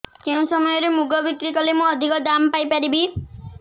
କେଉଁ ସମୟରେ ମୁଗ ବିକ୍ରି କଲେ ମୁଁ ଅଧିକ ଦାମ୍ ପାଇ ପାରିବି